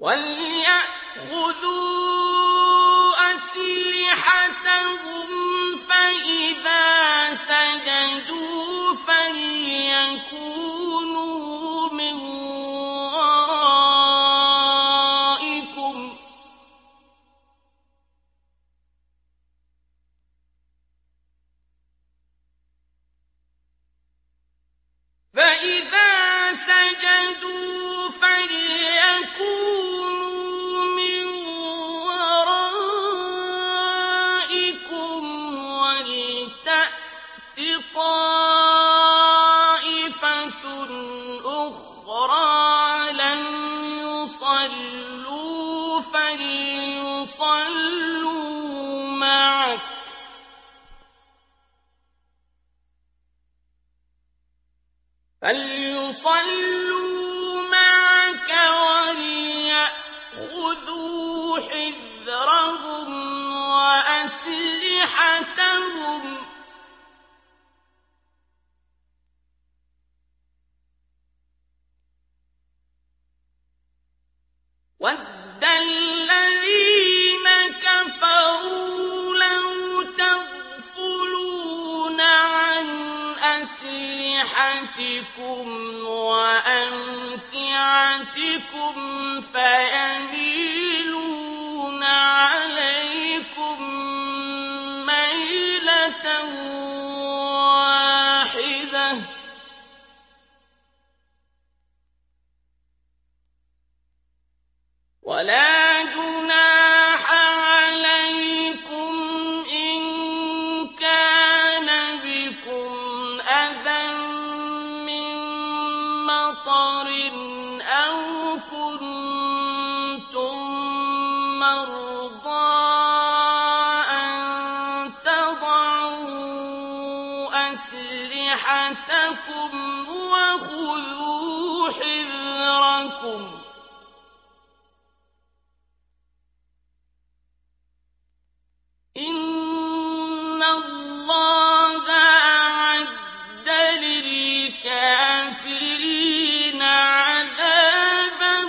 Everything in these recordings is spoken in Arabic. وَلْيَأْخُذُوا أَسْلِحَتَهُمْ فَإِذَا سَجَدُوا فَلْيَكُونُوا مِن وَرَائِكُمْ وَلْتَأْتِ طَائِفَةٌ أُخْرَىٰ لَمْ يُصَلُّوا فَلْيُصَلُّوا مَعَكَ وَلْيَأْخُذُوا حِذْرَهُمْ وَأَسْلِحَتَهُمْ ۗ وَدَّ الَّذِينَ كَفَرُوا لَوْ تَغْفُلُونَ عَنْ أَسْلِحَتِكُمْ وَأَمْتِعَتِكُمْ فَيَمِيلُونَ عَلَيْكُم مَّيْلَةً وَاحِدَةً ۚ وَلَا جُنَاحَ عَلَيْكُمْ إِن كَانَ بِكُمْ أَذًى مِّن مَّطَرٍ أَوْ كُنتُم مَّرْضَىٰ أَن تَضَعُوا أَسْلِحَتَكُمْ ۖ وَخُذُوا حِذْرَكُمْ ۗ إِنَّ اللَّهَ أَعَدَّ لِلْكَافِرِينَ عَذَابًا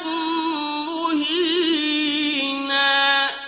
مُّهِينًا